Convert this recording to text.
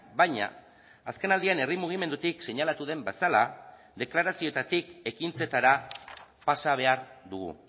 baina azkenaldian herri mugimendutik seinalatu den bezala deklarazioetatik ekintzetara pasa behar dugu